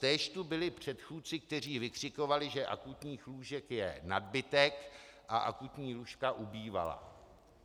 Též tu byli předchůdci, kteří vykřikovali, že akutních lůžek je nadbytek, a akutní lůžka ubývala.